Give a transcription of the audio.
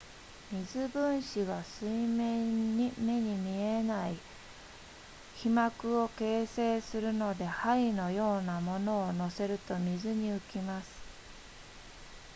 水分子が水面に目に見えない被膜を形成するので針のような物を載せると水に浮きます